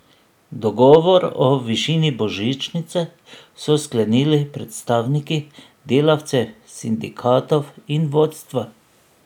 Dogovor o višini božičnice so sklenili predstavniki delavcev, sindikatov in vodstva.